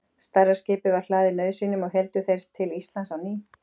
stærra skipið var hlaðið nauðsynjum og héldu þeir til íslands á ný